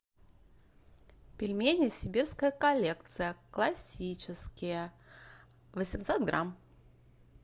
пельмени сибирская коллекция классические восемьсот грамм